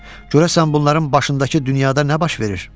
Görəsən bunların başındakı dünyada nə baş verir?